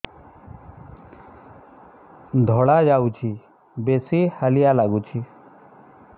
ଧଳା ଯାଉଛି ବେଶି ହାଲିଆ ଲାଗୁଚି